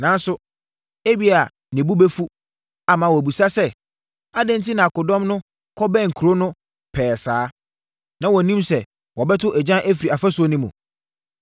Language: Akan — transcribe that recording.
Nanso, ebia ne bo bɛfu, ama wabisa sɛ, ‘Adɛn enti na akodɔm no kɔbɛn kuro no pɛɛ saa? Na wɔnnim sɛ wɔbɛto agyan afiri afasuo no mu?